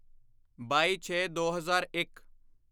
ਬਾਈਛੇਦੋ ਹਜ਼ਾਰ ਇੱਕ